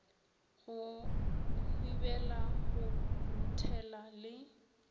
go hwibila go ruthela le